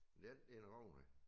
Ja det en ordentlig en